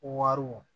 Wariw